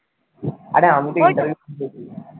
আরে আমি তো interview দিয়েছি